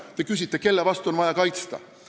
Te küsisite, kelle eest on vaja hümni kaitsta.